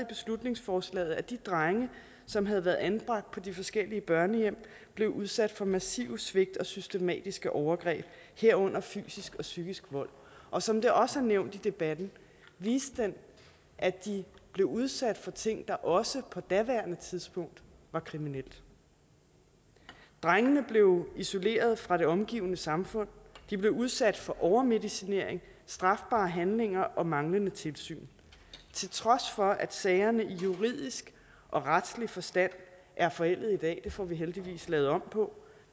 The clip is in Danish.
beslutningsforslaget at de drenge som havde været anbragt på de forskellige børnehjem blev udsat for massive svigt og systematiske overgreb herunder fysisk og psykisk vold og som det også er nævnt i debatten viste den at de blev udsat for ting der også på daværende tidspunkt var kriminelle drengene blev isoleret fra det omgivende samfund de blev udsat for overmedicinering strafbare handlinger og manglende tilsyn til trods for at sagerne i juridisk og retlig forstand er forældede i dag det får vi heldigvis lavet om på